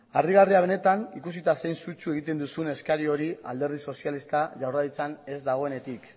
harrigarria benetan ikusita zein sutsu egiten duzun eskari hori alderdi sozialista jaurlaritzan ez dagoenetik